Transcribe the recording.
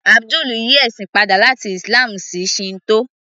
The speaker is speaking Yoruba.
Abdul yí ẹ̀sìn padà láti Islam sí Shinto